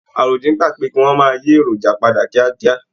Àròdín gba pé kí wọn máa yí èròjà padà kíákíá.